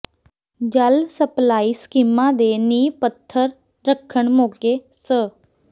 ਜਲ ਸਪਲਾਈ ਸਕੀਮਾਂ ਦੇ ਨੀਂਹ ਪੱਥਰ ਰੱਖਣ ਮੌਕੇ ਸ